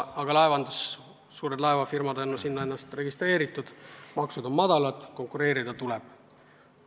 Aga suured laevafirmad on ennast sinna registreerinud, maksud on väikesed, konkureerida tuleb.